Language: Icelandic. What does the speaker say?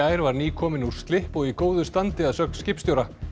gær var nýkominn úr slipp og í góðu standi að sögn skipstjóra